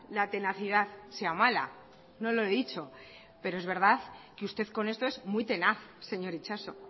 la tenacidad sea mala no lo he dicho pero es verdad que usted con esto es muy tenaz señor itxaso